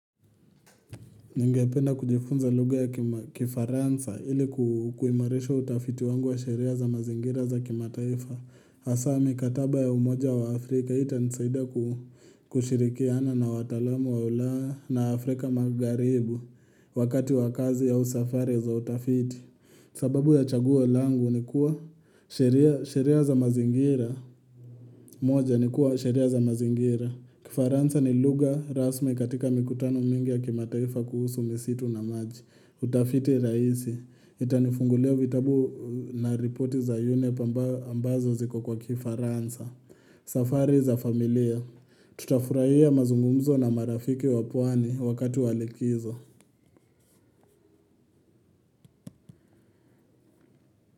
Ningependa kujifunza lugha ya kifaransa ili kuimarisha utafiti wangu wa sheria za mazingira za kimataifa. Hasaa mikataba ya umoja wa Afrika itanisaida kushirikiana na watalamu wa ulaya na Afrika magharibi wakati wa kazi au safari za utafiti. Sababu ya chaguo langu ni kuwa sheria za mazingira. Moja ni kuwa sheria za mazingira. Kifaransa ni lugha rasmi katika mikutano mingi ya kimataifa kuhusu misitu na maji. Utafiti rahisi, itanifungulia vitabu na ripoti za yunep ambayo ambazo ziko kwa kifaransa. Safari za familia, tutafurahia mazungumzo na marafiki wa pwani wakati wa likizo.